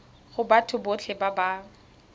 go batho botlhe ba ba